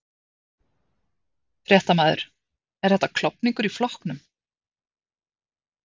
Fréttamaður: Er þetta klofningur í flokknum?